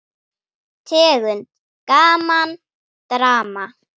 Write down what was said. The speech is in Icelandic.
Tegund: Gaman, Drama